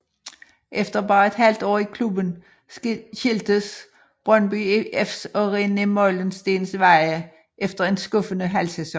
Efter bare et halvt år i klubben skiltes Brøndby IFs og René Meulensteens veje efter en skuffende halvsæson